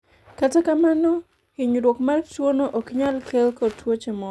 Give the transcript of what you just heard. kata kamano, hinyruok mar tuono ok nyal kelo tuoche moko